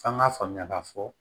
F'an k'a faamuya k'a fɔ